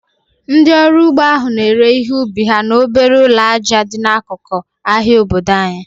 Ndị ọrụ ugbo ahụ na-ere ihe ubi ha n'obere ụlọ aja dị n'akụkụ ahịa obodo anyị